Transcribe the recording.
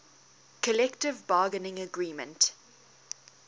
collective bargaining agreement